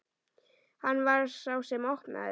Hann var sá sem opnaði.